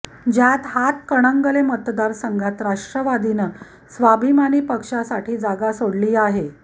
ज्यात हातकणंगले मतदारसंघात राष्ट्रवादीनं स्वाभिमानी पक्षासाठी जागा सोडली आहे